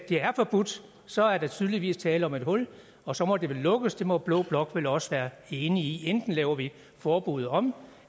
det er forbudt så er der tydeligvis tale om et hul og så må det vel lukkes det må blå blok vel også være enig i enten laver vi forbuddet om